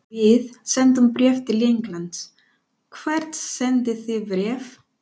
Við sendum bréf til Englands. Hvert sendið þið bréf?